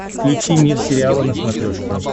включи мир сериала на смотрешке